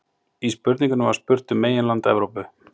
í spurningunni var spurt um meginland evrópu